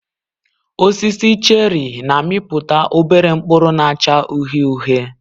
Osisi cheri na-amịpụta obere mkpụrụ na-acha uhie uhie